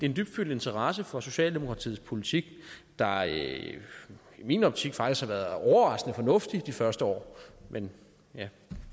en dybfølt interesse for socialdemokratiets politik der i min optik faktisk har været overraskende fornuftig de første år men